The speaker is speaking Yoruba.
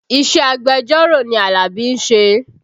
Iṣẹ́ agbẹjọ́rò ni Alabi ń ṣe